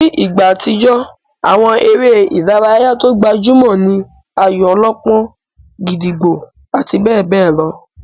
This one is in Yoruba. Nígbà àtijó, àwọn eré ìdárayá tó gbajúmọ̀ ní ayò-ọlọ́pọ́n, gídígbò àti bẹ́ẹ̀ bẹ́ẹ̀ lọ.